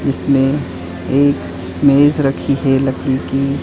इसमें एक मेज रखी है लकड़ी की।